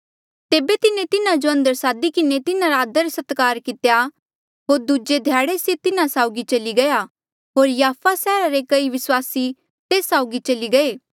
तेबे तिन्हें तिन्हा जो अंदर सादी किन्हें तिन्हारा आदर सत्कार कितेया होर दूजे ध्याड़े से तिन्हा साउगी चली गया होर याफा सैहरा रे कई विस्वासी तेस साउगी चली गये